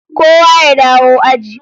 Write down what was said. Kowa ya dawo aji